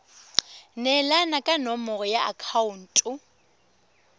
neelana ka nomoro ya akhaonto